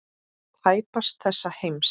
Tæpast þessa heims.